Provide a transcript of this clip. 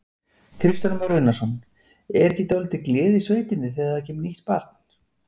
Kristján Már Unnarsson: Er ekki dálítil gleði í sveitinni þegar það kemur nýtt barn?